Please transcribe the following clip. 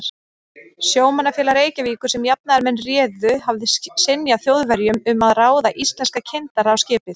Sjómannafélag Reykjavíkur, sem jafnaðarmenn réðu, hafði synjað Þjóðverjum um að ráða íslenska kyndara á skipið.